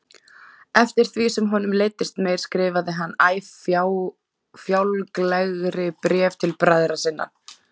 Eftir því sem honum leiddist meir skrifaði hann æ fjálglegri bréf til bræðra sinna.